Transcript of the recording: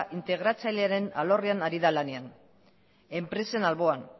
integratzailearen alorrean ari da lanean enpresen alboan